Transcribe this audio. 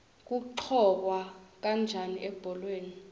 kuqhokwa kanjani ebholeni